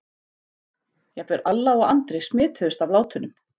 Jafnvel Alla og Andri smituðust af látunum.